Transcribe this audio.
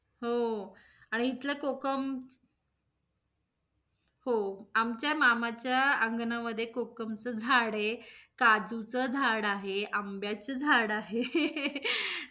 हो. आणि इथल कोकम हो. आमच्या मामाच्या अंगणामध्ये कोकम च झाड आहे, काजुच झाड आहे, आंब्याच झाड आहे.